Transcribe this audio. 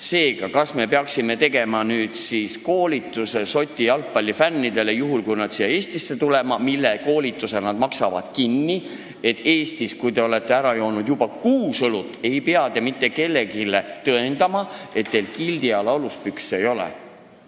Seega, kas me peaksime tegema nüüd koolituse Šoti jalgpallifännidele, juhul kui nad siia Eestisse tulevad, kusjuures selle koolituse maksavad nad ise kinni, et kui te olete Eestis ära joonud juba kuus õlut, siis ei pea te mitte kellelegi tõendama, et teil kildi all aluspükse ei ole?